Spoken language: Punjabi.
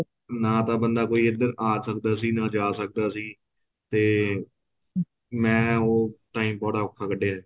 ਨਾ ਤਾਂ ਬੰਦਾ ਕੋਈ ਏਧਰ ਆ ਸਕਦਾ ਸੀ ਨਾ ਜਾ ਸਕਦਾ ਸੀ ਤੇ ਮੈਂ ਉਹ time ਬੜਾ ਔਖਾ ਕੱਡੀਆਂ